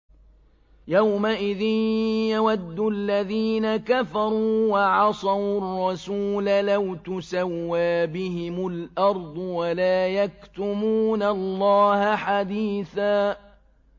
يَوْمَئِذٍ يَوَدُّ الَّذِينَ كَفَرُوا وَعَصَوُا الرَّسُولَ لَوْ تُسَوَّىٰ بِهِمُ الْأَرْضُ وَلَا يَكْتُمُونَ اللَّهَ حَدِيثًا